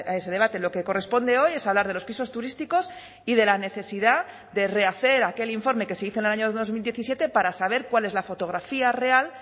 ese debate lo que corresponde hoy es hablar de los pisos turísticos y de la necesidad de rehacer aquel informe que se hizo en el año dos mil diecisiete para saber cuál es la fotografía real